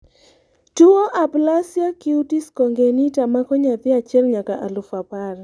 tuo aplasia cutis congenita mako nyathi achiel nyaka alufu apar